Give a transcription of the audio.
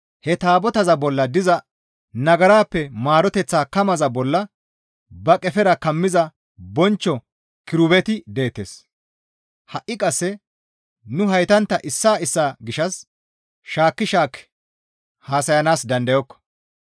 He taabotaza bolla diza nagarappe maaroteththa kamaza bolla ba qefera kammiza bonchcho kirubeti deettes; ha7i qasse nu heytantta issaa issaa gishshas shaakki shaakki haasayanaas dandayokko.